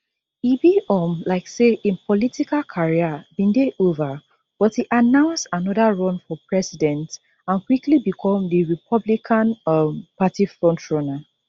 e be um like say im political career bin dey ova but e announce anoda run for president and quickly become di republican um party frontrunner